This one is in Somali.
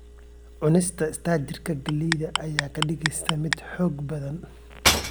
Cunista istaarijka galleyda ayaa kaa dhigaysa mid xoog badan.